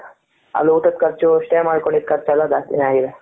ಅಲ್ಲಿ ಊಟದು ಕರ್ಚು stay ಮಾಡ್ಕೊಂಡಿದು ಕರ್ಚು ಎಲ್ಲ ಜಾಸ್ತಿನೆ ಆಗಿದೆ ,